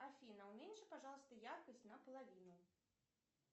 афина уменьши пожалуйста яркость на половину